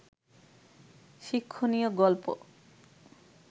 শিক্ষণীয় গল্প